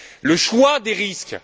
le choix des risques.